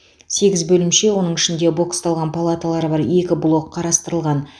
сегіз бөлімше оның ішінде боксталған палаталары бар екі блок қарастырылған